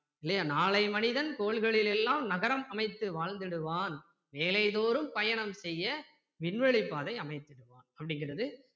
இல்லையா நாளை மனிதன் கோள்களில் எல்லாம் நகரம் அமைத்து வாழ்ந்திடுவான் வேலை தோறும் பயணம் செய்ய விண்வெளிப் பாதை அமைத்திடுவான் அப்படிங்கிறது